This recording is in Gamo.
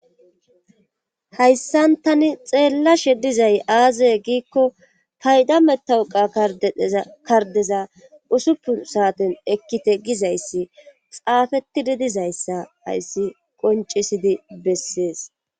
hayssan tani xeellashe dizay aaze giikko payda metauqa kardeza usuppu saaten ekkite gizayssi xaafetidi dizayssa hayssi qoncisidi bessees